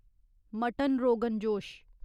mutton rogan जोश